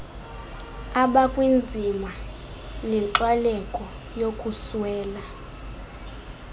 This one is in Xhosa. abakwinzima nenkxwaleko yokuswela